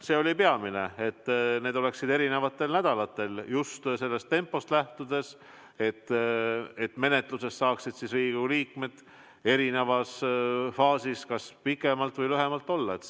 See oli peamine, et need oleksid eri nädalatel, just vajalikust tempost lähtudes, et menetluses saaksid Riigikogu liikmed erinevas faasis kas pikemalt või lühemalt osaleda.